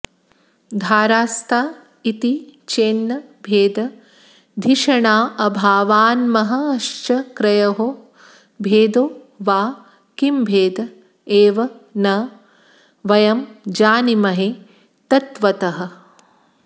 धारास्ता इति चेन्न भेदधिषणाभावान्महश्चक्रयोः भेदो वा किमभेद एव न वयं जानीमहे तत्त्वतः